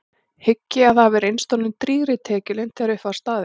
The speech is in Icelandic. Hygg ég að það hafi reynst honum drýgri tekjulind þegar upp var staðið.